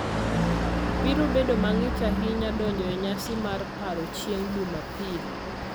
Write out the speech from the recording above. biro bedo mang'ich ahinya donjo e nyasi mar paro chieng' Jumapil